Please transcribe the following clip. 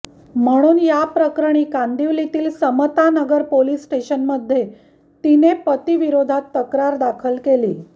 म्हणून याप्रकरणी कांदिवलीतील समतानगर पोलीस स्टेशनमध्ये तिने पतीविरोधात तक्रार दाखल केली